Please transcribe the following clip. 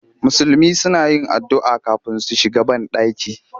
Musulmi suna yin addu'a kafin su shiga banɗaki